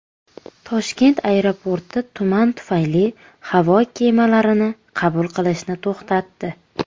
Toshkent aeroporti tuman tufayli havo kemalarini qabul qilishni to‘xtatdi.